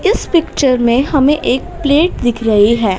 इस पिक्चर में हमें एक प्लेट दिख रही है।